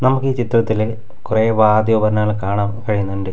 നമുക്ക് ഈ ചിത്രത്തില് കുറെ വാദ്യോപകരണങ്ങൾ കാണാം കഴിയുന്നുണ്ട്.